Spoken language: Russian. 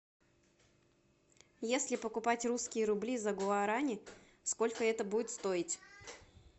если покупать русские рубли за гуарани сколько это будет стоить